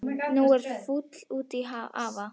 Nú er hún fúl út í afa.